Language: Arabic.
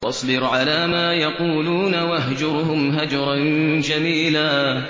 وَاصْبِرْ عَلَىٰ مَا يَقُولُونَ وَاهْجُرْهُمْ هَجْرًا جَمِيلًا